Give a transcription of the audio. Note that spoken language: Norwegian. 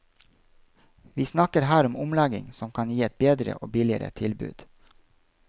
Vi snakker her om en omlegging som kan gi et bedre og billigere tilbud.